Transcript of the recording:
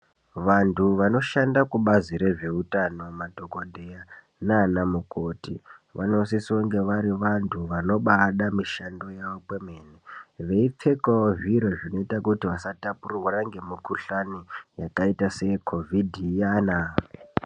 Vantu vanoshanda kubazi rezveutano madhokoteya nanamukoti vanosisonge vari vantu vanobada mishando yavo kwemene, veipfekawo zviro zvinoita kuti vasatapurirwana ngemikuhlani yakaita seyeKovhidhi iyana.